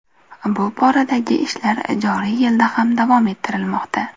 Bu boradagi ishlar joriy yilda ham davom ettirilmoqda.